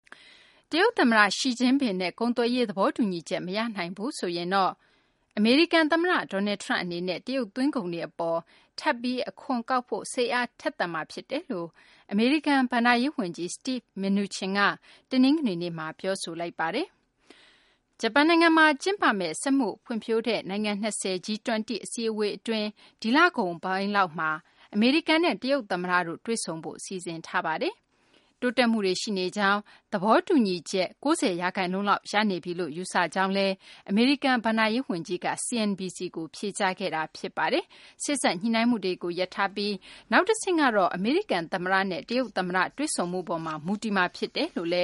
တရုတ် သမ္မတ Xi Jinping နဲ့ ကုန်သွယ်ရေး သဘောတူညီချက် မရနိုင်ဘူးဆိုရင်တော့ အမေရိကန် သမ္မတ Donald Trump အနေနဲ့ တရုတ်သွင်းကုန်တွေ အပေါ် ထပ်ပြီး အခွန်ကောက်ဖို့ စိတ်အားထက်သန်လိမ့်မယ်လို့ အမေရိကန် ဘဏ္ဍာရေး ဝန်ကြီး Steven Mnuchin က တနင်္ဂနွေနေ့မှာ ပြောဆိုလိုက်ပါတယ်။ ဂျပန်နိုင်ငံမှာ ကျင်းပတဲ့ စက်မှုဖွံ့ဖြိုးတဲ့ နိုင်ငံ ၂၀ အစည်းအဝေး အတွင်း ဒီလကုန်ပိုင်းလောက်မှာ အမေရိကန်နဲ့ တရုတ် သမ္မတတို့ တွေ့ဆုံဖို့ စီစဉ်ထားပါတယ်။ တိုးတက်မှုတွေ ရှိနေကြောင်း၊ သဘောတူညီချက် ၉၀ ရာခိုင်နှုန်းလောက် ရနေပြီလို့ ယူဆကြောင်းလည်း အမေရိကန် ဘဏ္ဍာရေး ဝန်ကြီးက CNBC ကို ဖြေကြားခဲ့တာပါ။ စေ့စပ်ညှိနှိုင်းမှုတွေကို ရပ်ထားပြီး နောက်တဆင့်ကတော့ အမေရိကန် သမ္မတနဲ့ တရုတ် သမ္မတရဲ့ တွေ့ဆုံမှုပေါ်မှာ မူတည်မှာ ဖြစ်တယ်လို့လ